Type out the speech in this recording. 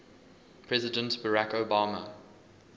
president barack obama